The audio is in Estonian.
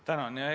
Tänan!